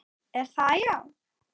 Er það, já?